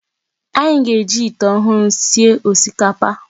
Anyị ga-eji ite ọhụrụ sie osikapa.